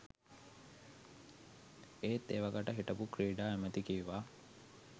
ඒත් එවකට හිටපු ක්‍රීඩා ඇමැති කිව්වා